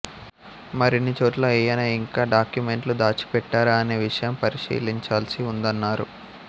మరిన్ని చోట్ల ఆయన ఇంకా డాక్యుమెంట్లు దాచి పెట్టారా అనే విషయం పరిశీలించాల్సి ఉందన్నారు